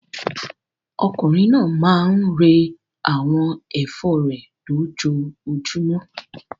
Okùnrin náà máa ń rẹ́ àwọn ẹ̀fọ́ rẹ̀ lójoojúmọ́.